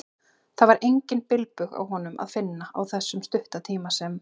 Það var engan bilbug á honum að finna, á þessum stutta tíma sem